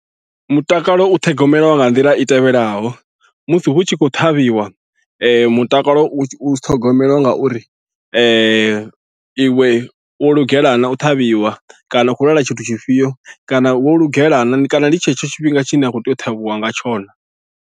Mutakalo u ṱhogomeliwa nga nḓila i tevhelaho musi hu tshi khou ṱhavhiwa mutakalo u ṱhogomeliwa ngauri iwe wo lugela na u ṱhavhiwa kana u khou lwala tshithu tshifhio kana wo lugela na kana ndi tshetsho tshifhinga tshine a khou tea u ṱhavhiwa nga tsho naa.